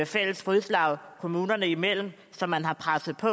fælles fodslag kommunerne imellem som man har presset på